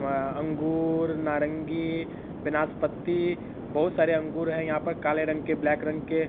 अंगूर नारंगी नाशपाती बहुत सारे अंगूर है यहाँ पर काले रंग के ब्लैक रंग के।